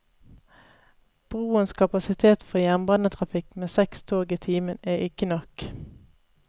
Broens kapasitet for jernbanetrafikk med seks tog i timen, er ikke nok.